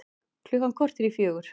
Klukkan korter í fjögur